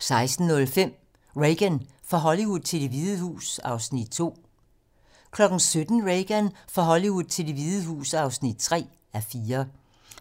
16:05: Reagan - fra Hollywood til Det Hvide Hus (2:4) 17:00: Reagan - fra Hollywood til Det Hvide Hus (3:4)